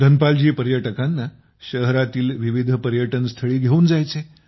धनपाल जी पर्यटकांना शहरातील विविध पर्यटनस्थळी घेऊन जायचे